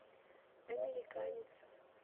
американец